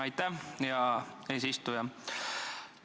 Aitäh, hea eesistuja!